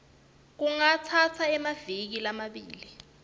kungatsatsa emaviki lamabili